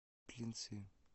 клинцы